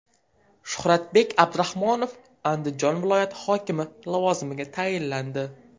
Shuxratbek Abduraxmanov Andijon viloyati hokimi lavozimiga tayinlandi.